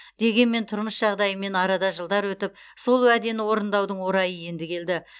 дегенмен тұрмыс жағдайымен арада жылдар өтіп сол уәдені орындаудың орайы енді келді